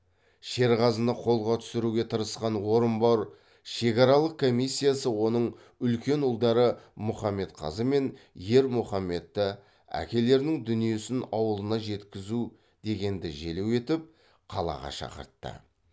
шерғазыны қолға түсіруге тырысқан орынбор шекаралық комиссиясы оның үлкен ұлдары мұхамедқазы мен ермұхамедті әкелерінің дүниесін ауылына жеткізу дегенді желеу етіп қалаға шақыртты